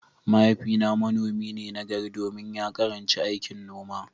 Mahaifina manomi ne nagari domin ya karanci aikin noma.